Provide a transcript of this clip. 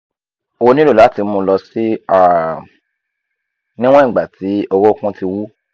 o nilo lati mu lọ si um niwon igba ti orokun ti wú